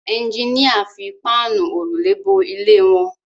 Ẹjiníà fi Páànù òrùlé bo ilé wọn